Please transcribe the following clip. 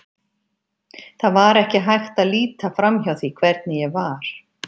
Það var ekki hægt að líta framhjá því hvernig ég var.